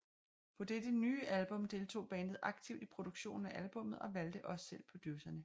På dette nye album deltog bandet aktivt i produktionen af albummet og valgte også selv producerne